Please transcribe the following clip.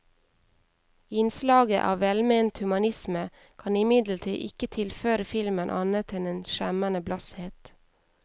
Innslaget av velment humanisme kan imidlertid ikke tilføre filmen annet en en skjemmende blasshet.